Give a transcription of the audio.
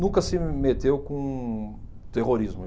Nunca se meteu com terrorismo.